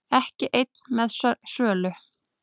Ekki einn með sölu